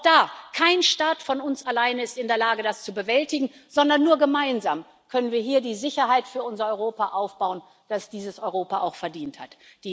Und auch da ist kein Staat von uns allein in der Lage, das zu bewältigen, sondern wir können nur gemeinsam hier die Sicherheit für unser Europa aufbauen, die dieses Europa auch verdient hat.